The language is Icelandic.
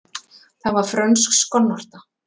Það var frönsk skonnorta.